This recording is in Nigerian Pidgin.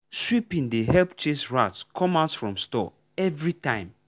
sweeping dey help chase rat come out from store every time.